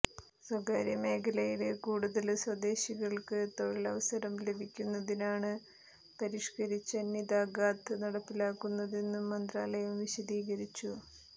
സ്വകാര്യ മേഖലയില് കൂടുതല് സ്വദേശികള്ക്ക് തൊഴില് അവസരം ലഭ്യമാക്കുന്നതിനാണ് പരിഷ്കരിച്ച നിതാഖാത്ത് നടപ്പിലാക്കുന്നതെന്നും മന്ത്രാലയം വിശദീകരിച്ചു